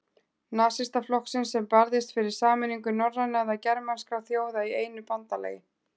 Nasistaflokksins, sem barðist fyrir sameiningu norrænna eða germanskra þjóða í einu bandalagi.